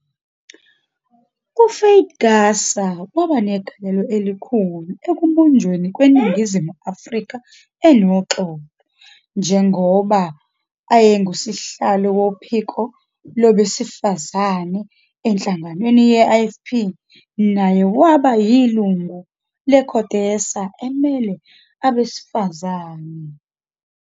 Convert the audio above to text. UFaith Gasa waba negalelo elikhulu ekubunjweni kweNingizimu Afrika enoxolo, njengoba eyengusihlalo Wophiko Labesifazane ehlanganweni ye-IFP naye waba yilingu le-CODESA emele abesifazane.